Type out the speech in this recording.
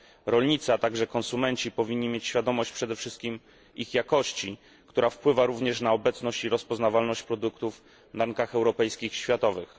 Rolnicy, a także konsumenci powinni mieć świadomość przede wszystkim ich jakości, która wpływa również na obecność i rozpoznawalność produktów na rynkach europejskich i światowych.